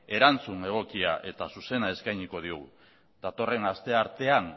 erantzun egokia eta zuzena eskainiko digu datorren asteartean